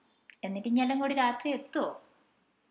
എന്നിട്ട് ഇഞ എല്ലാം കൂടി രാത്രി എത്തുവോ?